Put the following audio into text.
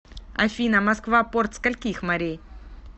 афина москва порт скольких морей